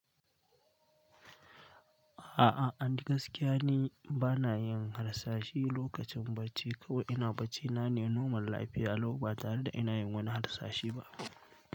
A'a and gakiya ni bana yin harsashe lokacin barci kawai ina bacci na ne normal lafiya, lau ba tare da ina yin wani harsashi ba.